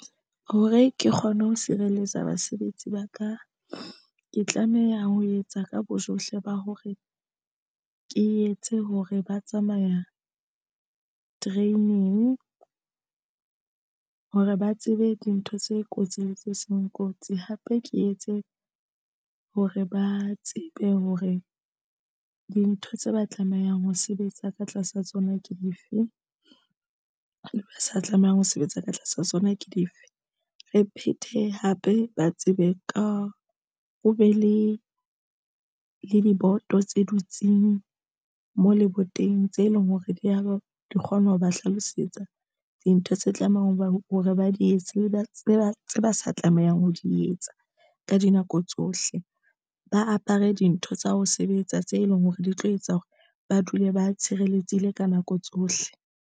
Hore ke kgone ho sireletsa basebetsi ba ka, ke tlameha ho etsa ka bojohle ba hore ke etse hore ba tsamaya training hore ba tsebe dintho tse kotsi le tse seng kotsi hape ke etse hore ba tsebe hore dintho tse ba tlamehang ho sebetsa ka tlasa tsona ke dife di sa tlamehang ho sebetsa ka tlasa sona ke dife. Re phethe hape ba tsebe ka ho be le diboto tse dutseng mo leboteng tse leng hore di ya ba di kgona ho ba hlalosetsa dintho tse tlamehang hore ba di etse, ba tseba ba sa tlamehang ho di etsa ka dinako tsohle, ba apere dintho tsa ho sebetsa tse leng hore di tlo etsa hore ba dule ba tshireletsehile ka nako tsohle.